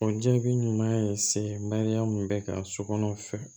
O jaabi ɲuman ye se mariyamu bɛ ka sokɔnɔ fɛ